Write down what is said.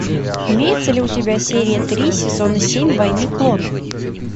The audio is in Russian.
имеется ли у тебя серия три сезона семь войны клонов